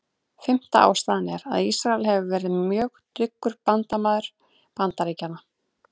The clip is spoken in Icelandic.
Fimmta ástæðan er, að Ísrael hefur verið mjög dyggur bandamaður Bandaríkjanna.